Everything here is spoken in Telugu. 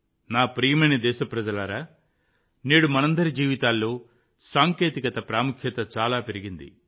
నా ప్రియమైన దేశప్రజలారా నేడు మనందరి జీవితాల్లో సాంకేతికత ప్రాముఖ్యత చాలా పెరిగింది